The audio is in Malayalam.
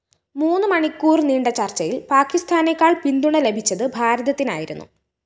മൂന്ന് മണിക്കൂര്‍ നീണ്ട ചര്‍ച്ചയില്‍ പാക്കിസ്ഥാനേക്കാള്‍ പിന്തുണ ലഭിച്ചത് ഭാരതത്തിനായിരുന്നു